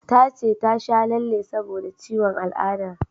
Ta ce ta sha lalle saboda ciwon al'ada